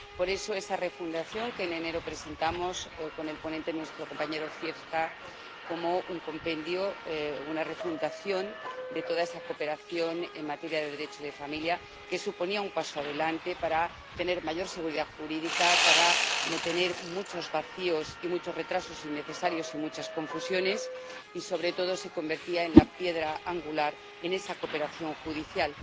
Por eso, esa refundición que en enero presentamos con el ponente, nuestro compañero Tadeusz Zwiefka, como un compendio, una refundición de toda esa cooperación en materia de Derecho de familia, suponía un paso adelante para tener mayor seguridad jurídica, para no tener muchos vacíos y muchos retrasos innecesarios y muchas confusiones y, sobre todo, se convertía en la piedra angular de esa cooperación judicial.